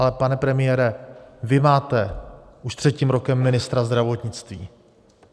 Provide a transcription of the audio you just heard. Ale pane premiére, vy máte už třetím rokem ministra zdravotnictví.